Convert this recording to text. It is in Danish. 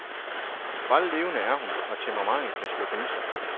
Sprællevende er hun, og temperamentet kan slå gnister.